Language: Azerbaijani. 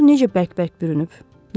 Gör necə bəkbək bürünüb.